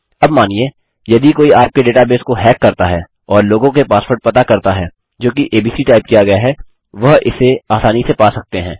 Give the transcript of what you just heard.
अब मानिए यदि कोई आपके डेटाबेस को हैक करता है और लोगों के पासवर्ड पता करता है जोकि एबीसी टाइप किया गया है वह इसे आसानी से पा सकते हैं